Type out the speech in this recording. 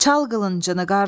Çal qılıncını,